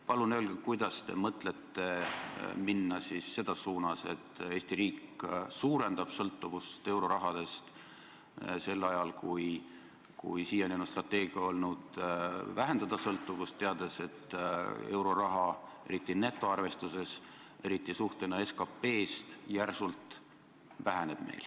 Palun öelge, kuidas te mõtlete minna selles suunas, et Eesti riik suurendab sõltuvust eurorahast, kui siiani on strateegia olnud sõltuvust vähendada, teades, et euroraha, eriti netoarvestuses, eriti suhtena SKP-sse, järsult väheneb.